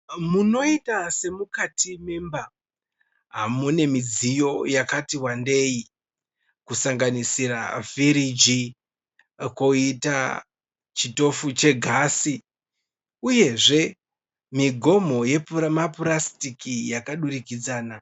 Munoita semukati memba, mune midziyo yakati wandei kusanganisira firiji koita chitofu chegasi uyezve migomho yemapurasitiki yakadurikidzana.